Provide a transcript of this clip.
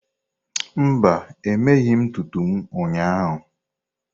Mba, emeghị m ntutu m ụnyahụ.